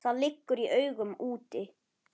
Það liggur í augum úti.